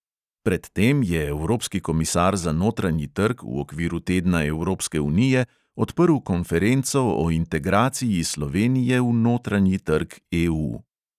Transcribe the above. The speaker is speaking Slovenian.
Pred tem je evropski komisar za notranji trg v okviru tedna evropske unije odprl konferenco o integraciji slovenije v notranji trg EU.